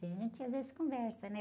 Tem gente às vezes conversa, né?